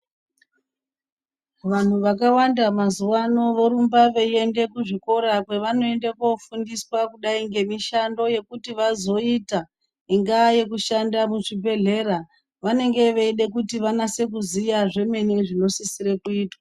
Vanhu vakawanda mazuva ano vorumba veienda kuzvikora kwovanoenda kofundiswa kudai ngemushando wekuti vazoita ingaa yekushanda kuzvibhehleya vanenge veida kuzoziya zvemene zvinosira kuzoitwa.